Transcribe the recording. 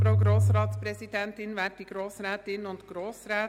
Regierungsrätin Egger, Sie haben somit das Wort.